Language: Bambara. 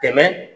Tɛmɛ